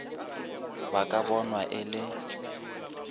ba ka bonwa e le